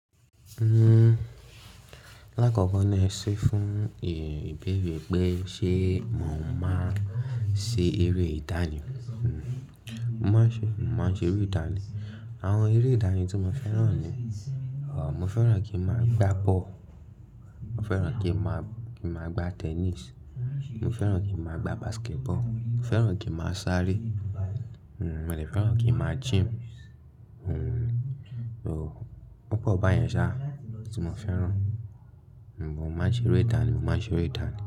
Lákòókò ni ẹ ṣe fún ìbéèrè pé ṣe mò ń máa ṣe eré ìdánì? Mo máa ń ṣe, mo máa ń ṣe eré ìdánì. Àwọn eré ìdánì tí mo fẹ́ràn ni, mo fẹ́ràn kí n máa gbá bọ́ọ̀lù, mo fẹ́ràn kí n máa, kí n máa gbá tennis, mo fẹ́ràn kí n máa gbá basketball, mo fẹ́ràn kí n máa sáré, mo le fẹ́ràn kí n máa gym. Tí mo fẹ́ràn, mo máa ń ṣe eré ìdánì, mo máa ń ṣe eré ìdánì.